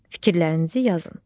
Fikirlərinizi yazın.